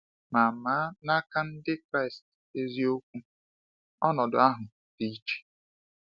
Ma Ma n’aka Ndị Kraịst eziokwu, ọnọdụ ahụ dị iche.